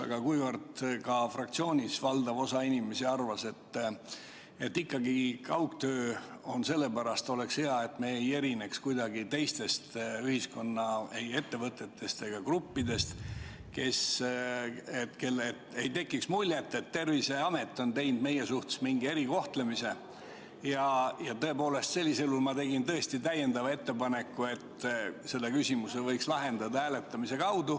Aga kuna fraktsioonis valdav osa inimesi arvas, et kaugtöö oleks ikkagi hea, et me ei erineks kuidagi ülejäänud ühiskonnast, ei ettevõtetest ega muudest gruppidest, ning et ei tekiks muljet, et Terviseamet kohaldab meie suhtes mingisugust erikohtlemist, siis tegin ma tõesti ettepaneku, et selle küsimuse võiks lahendada hääletamise teel.